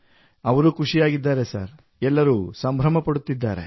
ಅವರು ಖುಷಿಯಾಗಿದ್ದಾರೆ ಸರ್ ಎಲ್ಲರೂ ಸಂಭ್ರಮ ಪಡುತ್ತಿದ್ದಾರೆ